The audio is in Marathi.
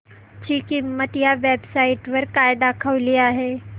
ची किंमत या वेब साइट वर काय दाखवली आहे